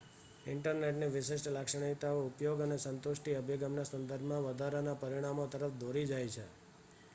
ઇન્ટરનેટની વિશિષ્ટ લાક્ષણિકતાઓ ઉપયોગ અને સ્ન્તુષ્ટિ અભિગમના સંદર્ભમાં વધારાના પરિમાણો તરફ દોરી જાય છે